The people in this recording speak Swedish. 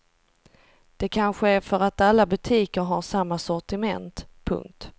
Det kanske är för att alla butiker har samma sortiment. punkt